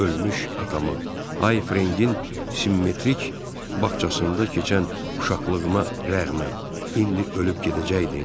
Ölmüş atama, Hay Frengin simmetrik bağçasında keçən uşaqlığıma rəğmən, indi ölüb gedəcəkdim?